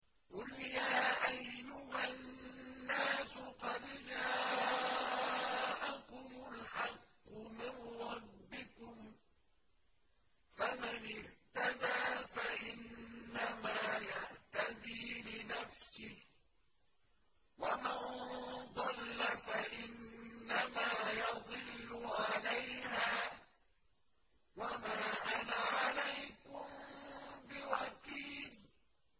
قُلْ يَا أَيُّهَا النَّاسُ قَدْ جَاءَكُمُ الْحَقُّ مِن رَّبِّكُمْ ۖ فَمَنِ اهْتَدَىٰ فَإِنَّمَا يَهْتَدِي لِنَفْسِهِ ۖ وَمَن ضَلَّ فَإِنَّمَا يَضِلُّ عَلَيْهَا ۖ وَمَا أَنَا عَلَيْكُم بِوَكِيلٍ